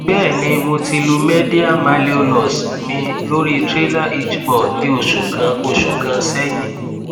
bẹẹni mo ti lu medial malleolus mi lori trailer hitch ball ni oṣu kan oṣu kan sẹyin